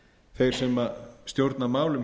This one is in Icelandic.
þeir sem stjórna málum